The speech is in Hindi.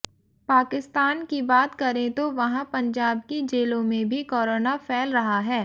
पाकिस्तान की बात करें तो वहाँ पंजाब की जेलों में भी कोरोना फ़ैल रहा है